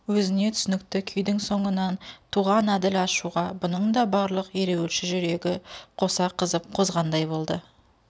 өзіне түсінікті күйдің соңынан туған әділ ашуға бұның да барлық ереуілші жүрегі қоса қызып қозғаңдай болды